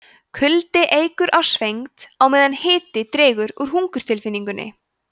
kuldi eykur á svengd á meðan hiti dregur úr hungurtilfinningunni